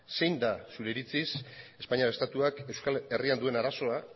zein da zure iritziz espainiar estatuak euskal herrian duen arazoa